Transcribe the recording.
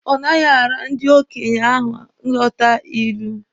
Ọ naghị ara ndị okenye ahụ ịghọta ilu.